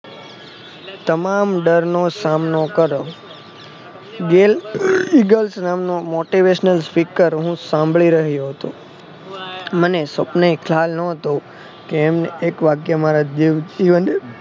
તમામ ડરનો સામનો કર bell eagle નામ નો motivational speaker હું સાંભળી રહ્યો હતો મને સપને ખ્યાલ નોતો કે એમને એક વાક્ય મારા જીવન